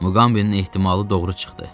Muqambinin ehtimalı doğru çıxdı.